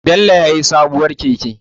Bello ya sayi sabuwar keke.